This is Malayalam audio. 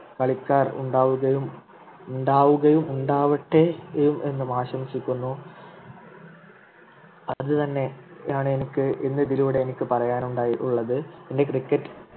കളിക്കാർ ഉണ്ടാവുകയും ഉണ്ടാവുകയും ഉണ്ടാവട്ടെ എന്നും ആശംസിക്കുന്നു അതുതന്നെയാണ് എനിക്ക് ഇന്ന് ഇതിലൂടെ എനിക്ക് പറയാനുണ്ടായിട്ടുള്ളത് എൻ്റെ Cricket